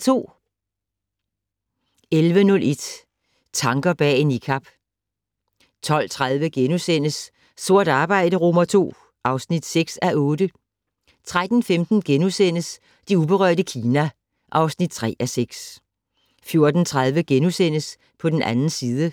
11:01: Tanker bag en Niqab 12:30: Sort arbejde II (6:8)* 13:15: Det uberørte Kina (3:6)* 14:30: På den 2. side *